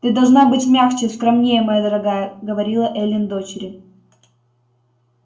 ты должна быть мягче скромнее моя дорогая говорила эллин дочери